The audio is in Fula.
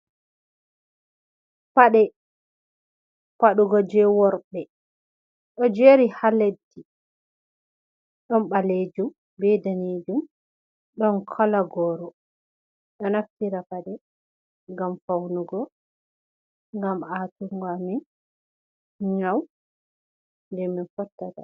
"Paɗe padugo" je worɓe ɗo jeri ha leddi ɗon balejum be danejum ɗon kola goro ɗo naftira paɗe ngam faunugo ngam a tungo amin nyau je min fottata.